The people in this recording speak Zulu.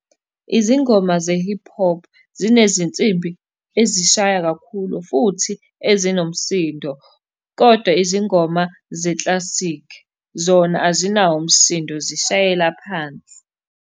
Izingoma ze-hip hop, zinezinsimbi ezishaya kakhulu, futhi ezinomsindo, kodwa izingoma zeklasikhi, zona azinawo umsindo zishayela phansi.